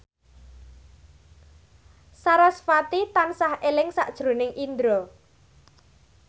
sarasvati tansah eling sakjroning Indro